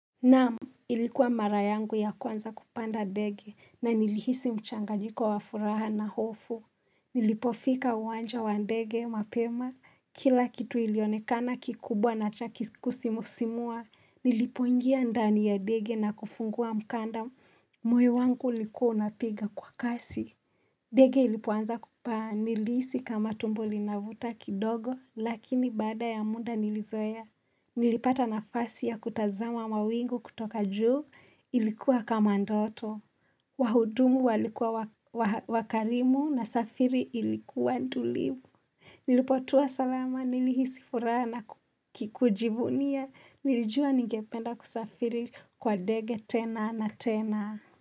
Naamu ilikuwa mara yangu ya kwanza kupanda ndege na nilihisi mchanganyiko wa furaha na hofu Nilipofika uwanja wa ndege mapema kila kitu ilionekana kikubwa na cha ki kusimusimua Nilipoingia ndani ya dege na kufungua mkanda moyo wangu ulikuwa unapiga kwa kasi Dege ilipoanza kupaa nilihisi kama tumbo linavuta kidogo lakini baada ya muda nilizoea Nilipata nafasi ya kutazama mawingu kutoka juu ilikuwa kama ndoto. Wahudumu walikuwa wakarimu na safiri ilikuwa n tulivu. Nilipotua salama nilihisi furaa na ki kujivunia. Nilijua ningependa kusafiri kwa dege tena na tena.